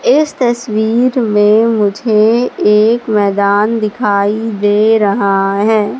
इस तस्वीर में मुझे एक मैदान दिखाई दे रहा हैं।